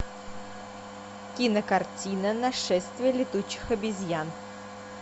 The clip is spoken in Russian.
кинокартина нашествие летучих обезьян